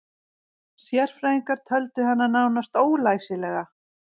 Sérfræðingar töldu hana nánast ólæsilega